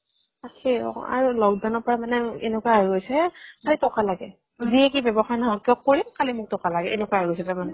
তাকেই ঔ আৰু lockdown ৰ পৰা এনেকুৱা হৈ গৈছে খালি তকা লাগে যিয়ে কি ব্যৱসায় নহক কিয় কৰিম খালি মোক তকা লাগে এনেকুৱা হৈ গৈছে তাৰমানে